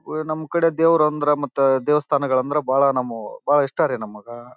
ವಾಹ್ ನಮ್ ಕಡೆ ದೇವರು ಅಂದ್ರೆ ಮತ್ತೆ ದೇವಸ್ಥಾನಗಳಂದ್ರೆ ಬಹಳ ನಾಮವು ಬಹಳ ಇಷ್ಟ ರೀ ನಮಗ.